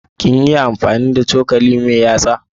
Kin iya amfani da cokali mai yatsa?